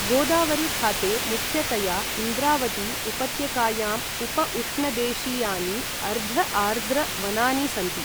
गोदावरी खाते मुख्यतया इन्द्रावती उपत्यकायाम् उप उष्णदेशीयानि अर्ध आर्द्र वनानि सन्ति।